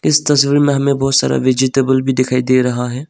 इस तस्वीर में हमें बहोत सारा वेजिटेबल भी दिखाई दे रहा है।